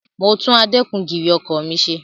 Mo tún adẹ́kun-gìrì ọkọ̀ mi ṣe.